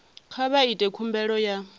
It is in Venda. kha vha ite khumbelo ya